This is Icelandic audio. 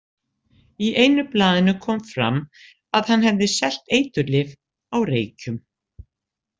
Í einu blaðinu kom fram að hann hefði selt eiturlyf á Reykjum.